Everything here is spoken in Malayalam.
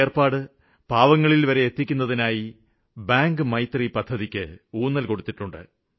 ഈ ഏര്പ്പാട് പാവങ്ങളില്വരെ എത്തിക്കുന്നതിനായി ബാങ്ക് മിത്രം പദ്ധതിക്ക് രൂപം കൊടുത്തിട്ടുണ്ട്